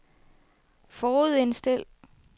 forudindstil